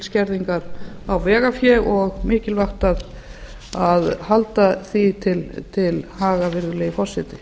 skerðingar á vegafé og mikilvægt að halda því til haga virðulegi forseti